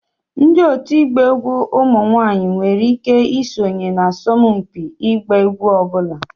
Ndị òtù ịgba egwu ụmụ nwanyị nwere ike isonye na asọmpi ịgba egwu ọ bụla